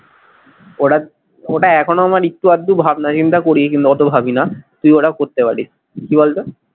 ওটা ওটা এখনো আমার একটু আধটু ভাবনা চিন্তা করি কিন্তু ওতো ভাবি না তুই ওটা করতে পারিস কি বলতো?